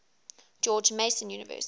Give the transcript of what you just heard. george mason university